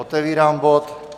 Otevírám bod